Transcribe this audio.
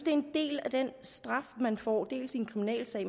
er en del af den straf man får dels i en kriminalsag